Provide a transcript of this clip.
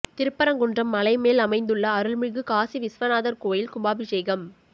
திருப்பரங்குன்றம் மலை மேல் அமைந்துள்ள அருள்மிகு காசிவிஸ்வநாதர் கோவில் கும்பாபிஷேகம்